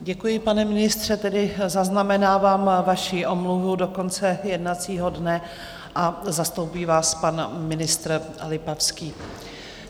Děkuji, pane ministře, tedy zaznamenávám vaši omluvu do konce jednacího dne a zastoupí vás pan ministr Lipavský.